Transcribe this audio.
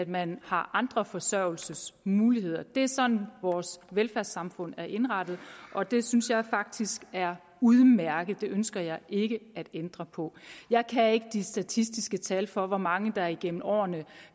man har andre forsørgelsesmuligheder det er sådan vores velfærdssamfund er indrettet og det synes jeg faktisk er udmærket det ønsker jeg ikke at ændre på jeg kan ikke de statistiske tal for hvor mange der gennem årene